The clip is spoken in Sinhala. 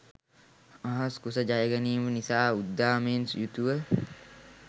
අහස් කුස ජයගැනීම නිසා උද්දාමයෙන් යුතුව